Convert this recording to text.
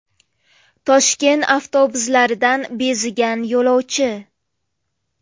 Toshkent avtobuslaridan bezigan yo‘lovchi.